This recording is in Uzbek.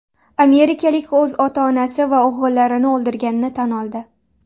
Amerikalik o‘z ota-onasi va o‘g‘illarini o‘ldirganini tan oldi.